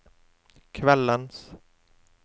kveldens